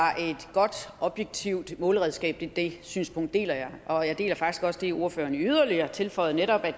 godt objektivt måleredskab det synspunkt deler jeg og jeg deler faktisk også det ordføreren yderligere tilføjede netop at